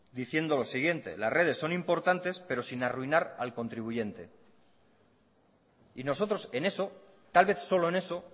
diciendo lo siguiente las redes son importantes pero sin arruinar al contribuyente y nosotros en eso tal vez solo en eso